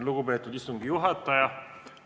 Lugupeetud istungi juhataja!